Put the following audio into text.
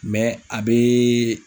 a bɛ